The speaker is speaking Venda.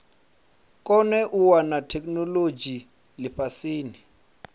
kone u wana theikinolodzhi lifhasini